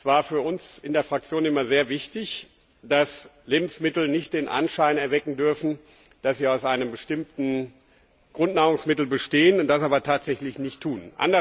Es war für uns in der Fraktion immer sehr wichtig, dass Lebensmittel nicht den Anschein erwecken dürfen, dass sie aus einem bestimmten Grundnahrungsmittel bestehen, das aber tatsächlich nicht tun.